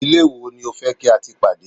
ilé wo ni o fe ki a ti pade